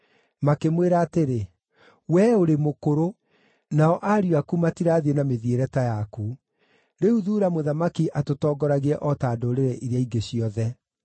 Makĩmwĩra atĩrĩ, “Wee ũrĩ mũkũrũ, nao ariũ aku matirathiĩ na mĩthiĩre ta yaku; rĩu thuura mũthamaki atũtongoragie o ta ndũrĩrĩ iria ingĩ ciothe.”